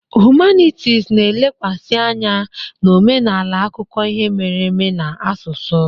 Hụmanịtis na-elekwasị anya na omenala, akụkọ ihe mere eme na asụsụ.